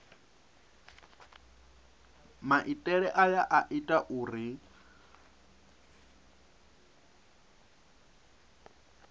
maitele aya a ita uri